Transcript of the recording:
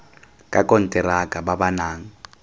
ka konteraka ba ba nang